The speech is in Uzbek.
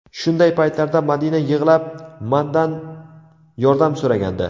Shunday paytlarda Madina yig‘lab mandan yordam so‘ragandi.